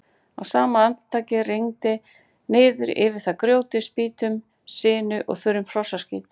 Á sama andartaki rigndi niður yfir þær grjóti, spýtum, sinu og þurrum hrossaskít.